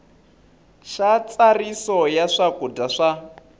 xa ntsariso ya swakudya swa